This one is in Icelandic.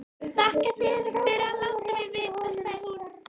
Þakka þér fyrir að láta mig vita, sagði hún.